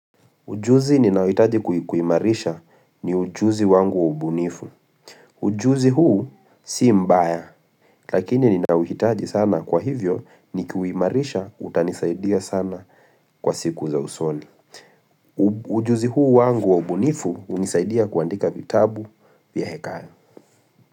Ujuzi ninaohitaji kuimarisha ni ujuzi wangu wa ubunifu. Ujuzi huu si mbaya, lakini ninauhitaji sana kwa hivyo ni kuimarisha utanisaidia sana kwa siku za usoni. Ujuzi huu wangu wa ubunifu hunisaidia kuandika vitabu vya hekaya.